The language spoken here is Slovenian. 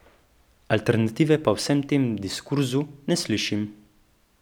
Alternative pa v vsem tem diskurzu ne slišim.